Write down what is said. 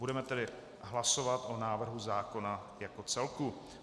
Budeme tedy hlasovat o návrhu zákona jako celku.